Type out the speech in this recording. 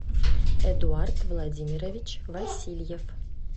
эдуард владимирович васильев